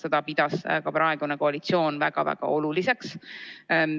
Seda pidas ka praegune koalitsioon väga oluliseks.